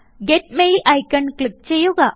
get mail icon click ചെയ്യുക